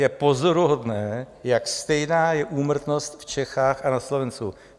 Je pozoruhodné, jak stejná je úmrtnost v Čechách a na Slovensku.